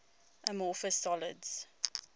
amorphous solids